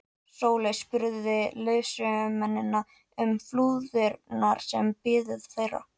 Sóley spurði leiðsögumennina um flúðirnar sem biðu þeirra.